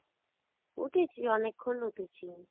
উঠেছি, অনেক্ষন উঠেছি